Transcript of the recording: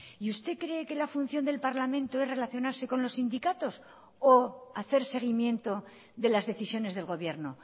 y usted cree que la función del parlamento es relacionarse con los sindicatos o hacer seguimiento de las decisiones del gobierno